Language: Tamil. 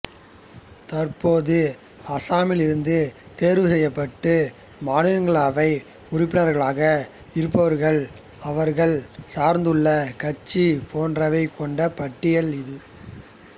தற்போது அசாமிலிருந்து தேர்வு செய்யப்பட்டு மாநிலங்களவையில் உறுப்பினர்களாக இருப்பவர்கள் அவர்கள் சார்ந்துள்ள கட்சி போன்றவை கொண்ட பட்டியல் இது